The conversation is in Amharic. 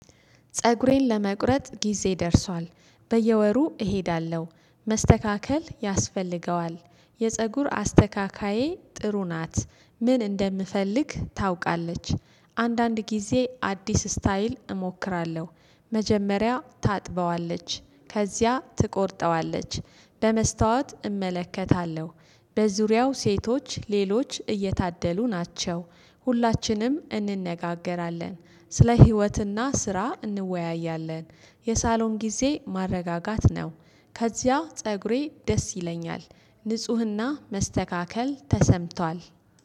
ፀጉሬን ለመቁረጥ ጊዜ ደርሷል በየወሩ እሄዳለሁ መስተካከል ያስፈልገዋል። የፀጉር አስተካካየ ጥሩ ናት ምን እንደምፈልግ ታውቃለች። አንዳንድ ጊዜ አዲስ ስታይል እሞክራለሁ። መጀመሪያ ታጥበዋለች ከዚያ ትቆርጠዋለች በመስታወት እመለከታለሁ። በዙሪያው ሴቶች ሌሎች እየታደሉ ናቸው። ሁላችንም እንነጋገራለን። ስለ ህይወትና ስራ እንወያያለን። የሳሎን ጊዜ ማረጋጋት ነው። ከዚያ ፀጉሬ ደስ ይለኛል። ንፁህና መስተካከል ተሰምቷል።